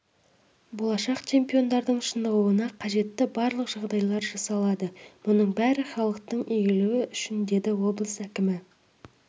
болашақ чемпиондардың шынығуына қажетті барлық жағдайлар жасалады мұның бәрі халықтың игілігі үшін деді облыс әкімі